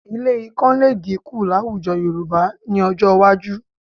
Ilé ikán lè dínkù láwùjọ Yorùbá ní ọjọ́ iwájú